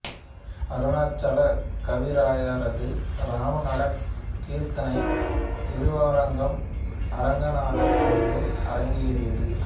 அருணாசலக் கவிராயரது இராமநாடகக் கீர்த்தனை திருவரங்கம் அரங்கநாதர் கோயிலில் அரங்கேறியது